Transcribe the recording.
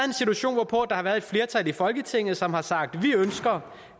en situation hvor der har været et flertal i folketinget som har sagt vi ønsker